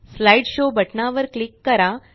slide show बटनावर click करा